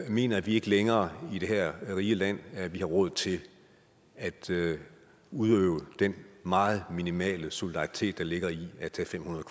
mener vi ikke længere i det her rige land at vi har råd til at til at udøve den meget minimale solidaritet der ligger i at tage fem hundrede